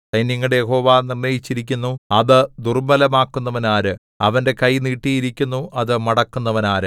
സൈന്യങ്ങളുടെ യഹോവ നിർണ്ണയിച്ചിരിക്കുന്നു അത് ദുർബ്ബലമാക്കുന്നവനാര് അവന്റെ കൈ നീട്ടിയിരിക്കുന്നു അത് മടക്കുന്നവനാര്